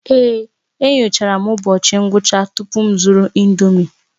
Èé, enyochara m ụbọchị ngwụcha tupu m zụrụ ị̀ndómị́